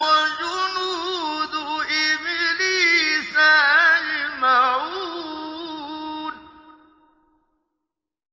وَجُنُودُ إِبْلِيسَ أَجْمَعُونَ